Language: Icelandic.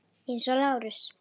Eins og Lárus.